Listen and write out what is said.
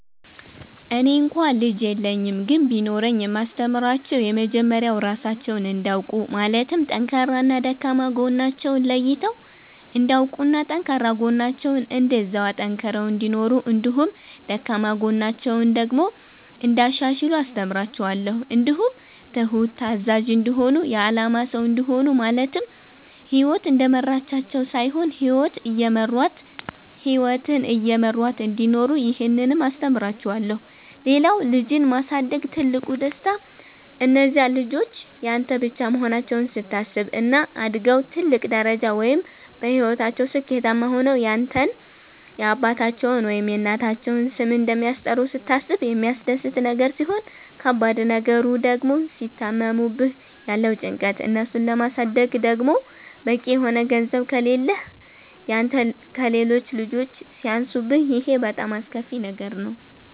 እኔ እንኳ ልጅ የለኝም ግን ቢኖረኝ የማስተምራቸዉ የመጀመሪያዉ ራሳቸዉን እንዲያዉቁ ማለትም ጠንካራና ደካማ ጎናቸዉን ለይተዉ እንዲያዉቁና ጠንካራ ጎናቸዉን እንደዚያዉ አጠንክረዉ እንዲኖሩ እንዲሁም ደካማ ጎናቸዉን ደግሞ እንያሻሽሉ አስተምራቸዋለሁ። እንዲሁም ትሁት፣ ታዛዥ፣ እንዲሆኑ የአላማ ሰዉ እንዲሆኑ ማለትም ህይወት እንደመራቻቸዉ ሳይሆን ህይወትን እየመሯት እንዲኖሩ ይህንንም አስተምራቸዋለሁ። ሌላዉ ልጅን ማሳደግ ትልቁ ደስታ እነዚያ ልጆች ያንተ ብቻ መሆናቸዉን ስታስብ፣ እና አድገዉ ትልቅ ደረጃ ወይም በህይወታቸዉ ስኬታማ ሆነዉ ያንተን የአባታቸዉን ወይም የእናታቸዉን ስም እንደሚያስጠሩ ስታስብ የሚያስደስት ነገር ሲሆን ከባድ ነገሩ ድግሞ ሲታመሙብህ ያለዉ ጭንቀት፣ እነሱን ለማሳደግ ደግሞ በቂ የሆነ ገንዘብ ከሌህ ያንተ ከሌሎች ልጆች ሲያንሱብህ ይሄ በጣም አስከፊ ነገር ነዉ።